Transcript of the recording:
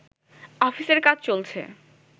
অফিসের কাজ চলছে